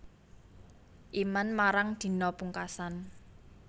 Iman marang dina pungkasan